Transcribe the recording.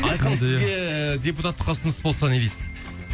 айқын сізге депутаттыққа ұсыныс болса не дейсің